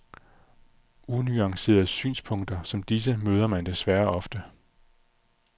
Unuancerede synspunkter som disse møder man desværre ofte.